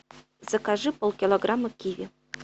закажи полкилограмма киви